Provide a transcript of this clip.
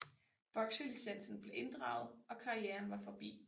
Bokselicensen blev indraget og karrieren var forbi